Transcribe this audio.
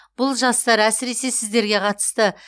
бұл жастар әсіресе сіздерге қатысты